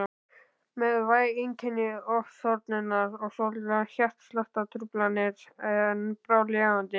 Með væg einkenni ofþornunar og svolitlar hjartsláttartruflanir en bráðlifandi.